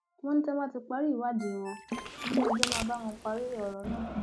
ó ní tí wọn bá ti parí ìwádìí wọn iléẹjọ ló máa bá wọn parí ọrọ náà